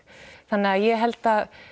þannig að ég held að